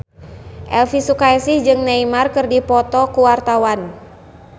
Elvy Sukaesih jeung Neymar keur dipoto ku wartawan